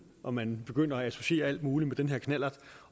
og man begynder at associere alt muligt med den her knallert